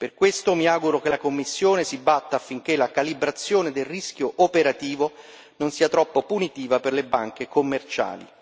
Per questo mi auguro che la Commissione si batta affinché la calibrazione del rischio operativo, non sia troppo punitiva per le banche commerciali.